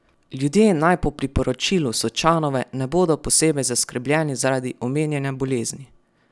Ljudje naj po priporočilu Sočanove ne bodo posebej zaskrbljeni zaradi omenjene bolezni.